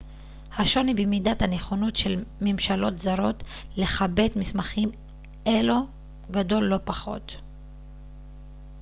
השוני במידת הנכונות של ממשלות זרות לכבד מסמכים אלו גדול לא פחות